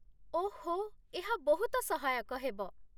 ଓଃ, ଏହା ବହୁତ ସହାୟକ ହେବ।